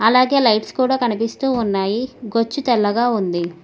అలాగే లైట్స్ కూడ కనిపిస్తూ ఉన్నాయి గొచ్చు తెల్లగా ఉంది.